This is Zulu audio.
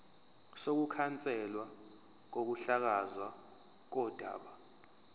sokukhanselwa kokuhlakazwa kodaba